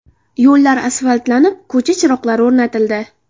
Yo‘llar asfaltlanib, ko‘cha chiroqlari o‘rnatildi.